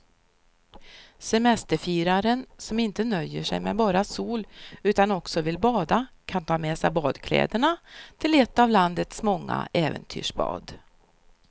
Semesterfiraren som inte nöjer sig med bara sol utan också vill bada kan ta med sig badkläderna till ett av landets många äventyrsbad.